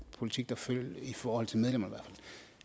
politik der føres i forhold til medlemmer